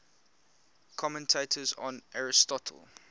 commentators on aristotle